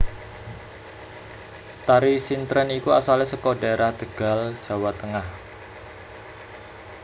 Tari sintren iku asale saka dhaerah Tegal Jawa Tengah